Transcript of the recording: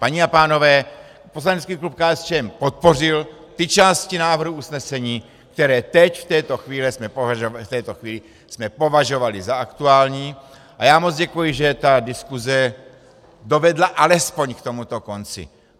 Paní a pánové, poslanecký klub KSČM podpořil ty části návrhu usnesení, které teď v této chvíli jsme považovali za aktuální, a já moc děkuji, že ta diskuse dovedla alespoň k tomuto konci.